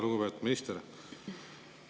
Lugupeetud minister!